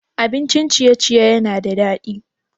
Abincin ciye-ciye yana da daɗi?